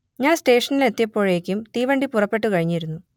ഞാൻ സ്റ്റേഷനിലെത്തിയപ്പോഴേക്കും തീവണ്ടി പുറപ്പെട്ടു കഴിഞ്ഞിരുന്നു